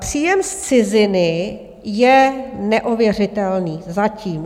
Příjem z ciziny je neověřitelný, zatím.